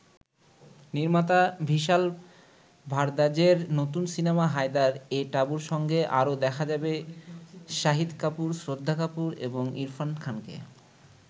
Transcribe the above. নির্মাতা ভিশাল ভারদ্বাজের নতুন সিনেমা ‘হায়দার’এ টাবুর সঙ্গে আরও দেখা যাবে শাহীদ কাপুর, শ্রদ্ধা কাপুর এবং ইরফান খানকে।